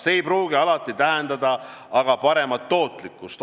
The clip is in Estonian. See ei pruugi alati tähendada aga paremat tootlikkust.